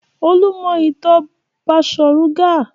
Olú mọ ìtàn Baṣọ̀run Gáà.